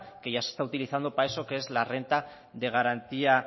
que ya se está utilizando para eso que es la renta de garantía